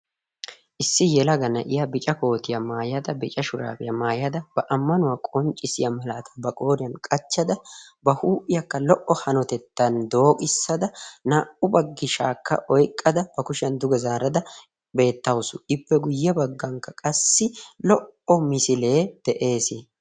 issi yelaga na'iya bica kootiyaa maayada bica shuraabiyaa maayada ba ammanuwaa qonccissiya malaata ba qooriyan qachchada ba huuphiyaakka lo"o hanotettan dooqissada naa"u baggi shaakka oiqqada ba kushiyan duga zaarada beettausu ippe guyye baggankka qassi lo"o misilee de'ees